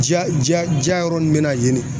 Ja ja yɔrɔ n mɛna yen de.